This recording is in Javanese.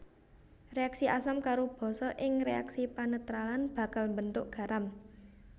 Réaksi asam karo basa ing réaksi panetralan bakal mbentuk garam